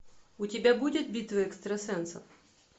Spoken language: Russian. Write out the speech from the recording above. у тебя будет битва экстрасенсов